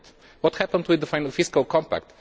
What happened with the final Fiscal Compact?